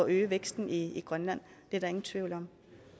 øge væksten i grønland det er der ingen tvivl